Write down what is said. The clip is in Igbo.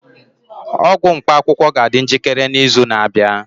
ọgwụ mkpaakwụkwọ ga-adị njikere n'izu na-abịa